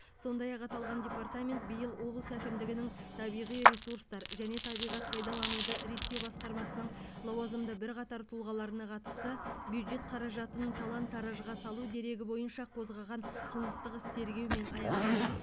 сондай ақ аталған департамент биыл облыс әкімдігінің табиғи ресурстар және табиғат пайдалануды реттеу басқармасының лауазымды бірқатар тұлғаларына қатысты бюджет қаражатын талан таражға салу дерегі бойынша қозғаған қылмыстық іс тергеумен аяқталған